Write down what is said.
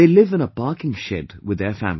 They live in a parking shed with their family